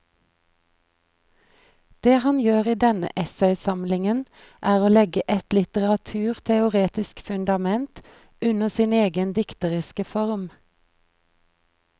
Det han gjør i denne essaysamlingen er å legge et litteraturteoretisk fundament under sin egen dikteriske form.